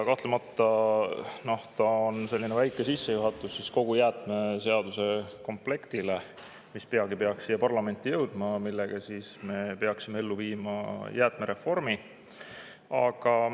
Kahtlemata on see selline väike sissejuhatus kogu jäätmeseaduse komplekti, mis peagi peaks jõudma parlamenti ja millega viiakse ellu jäätmereform.